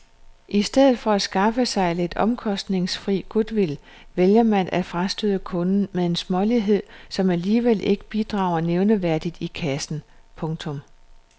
I stedet for at skaffe sig lidt omkostningsfri goodwill vælger man at frastøde kunden med en smålighed som alligevel ikke bidrager nævneværdigt i kassen. punktum